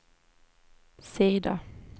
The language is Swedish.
sida